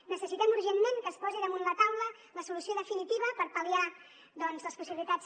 necessitem urgentment que es posi damunt la taula la solució definitiva per pal·liar les possibilitats